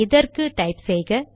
இதற்கு டைப் செய்க